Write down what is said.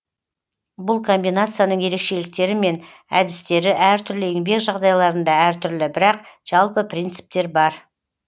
бұл комбинацияның ерекшеліктері мен әдістері әртүрлі еңбек жағдайларында әртүрлі бірақ жалпы принциптер бар